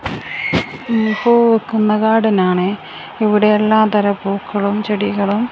പൂവിക്കുന്ന garden ആണെ ഇവിടെ എല്ലാ തരം പൂക്കളും ചെടികളും--